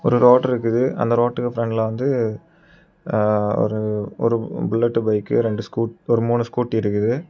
ஒரு ரோடு இருக்குது அந்த ரோட்டுக்கு பிரண்ட்ல வந்து ஆ ஒரு ஒரு புல்லட் பைக் ஒரு ரெண்டு ஸ்கூ ஒரு மூணு ஸ்கூட்டி இருக்குது.